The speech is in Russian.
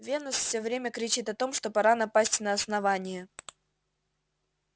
венус все время кричит о том что пора напасть на основание